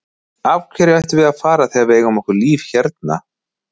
Af hverju ættum við að fara þegar við eigum okkar líf hérna?